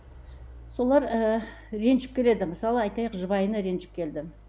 солар ыыы ренжіп келеді мысалы айтайық жұбайына ренжіп келді